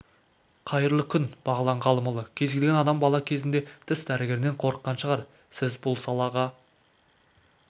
қайырлы күн бағлан ғалымұлы кез келген адам бала кезінде тіс дәрігерінен қорыққан шығар сіз бұл салаға